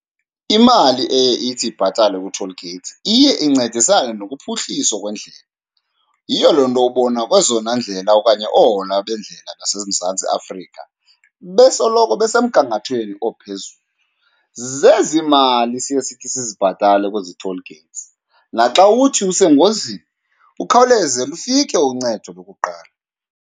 Imali eye ithi ibhatalwe kwii-toll gates iye incedisane nokuphuhliswa kwendlela. Yiyo loo nto ubona kwezona ndlela okanye oohola bendlela zaseMzantsi Afrika besoloko besemgangathweni ophezulu, zezi mali siye sithi sizibhatale kwezi toll gates. Naxa uthi usengozini ukhawuleze lufike uncedo lokuqala.